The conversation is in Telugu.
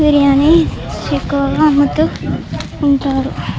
బిర్యానీ ఎక్కువగా అమ్ముతూ ఉంటారు.